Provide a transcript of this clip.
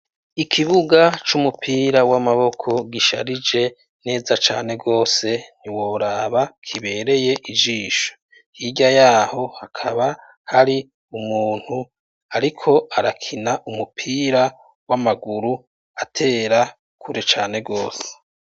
Ikibuga c' umupira w' amaboko gisharije neza cane gose ntiworaba kibereye ijisho. Hirya y'aho, hakaba hari umuntu ariko arakina umupira w' amaguru atera kure cane gose.